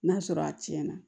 N'a sɔrɔ a tiɲɛna